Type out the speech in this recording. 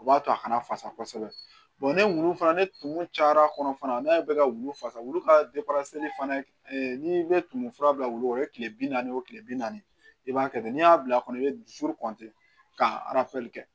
O b'a to a kana fasa kosɛbɛ ni wulu fana ni tumu cayara kɔnɔ fana n'a bɛ ka wulu fasa wulu ka fana n'i bɛ tumu fura bila wulu la o ye tile bi naani o tile bi naani i b'a kɛ ten n'i y'a bila a kɔnɔ i bɛ dusu ka kɛ